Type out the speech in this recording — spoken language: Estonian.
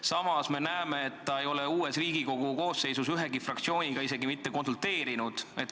Samas ta ei ole Riigikogu uues koosseisus ühegi fraktsiooniga isegi mitte konsulteerinud.